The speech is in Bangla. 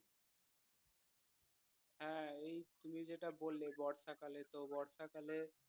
হ্যাঁ এই তুমি যেটা বললে বর্ষাকালে তো বর্ষাকালে